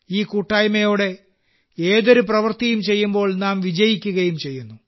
ഈ കൂട്ടായ്മയോടെ ഏതൊരു പ്രവൃത്തിയും ചെയ്യുമ്പോൾ നാം വിജയിക്കുകയും ചെയ്യുന്നു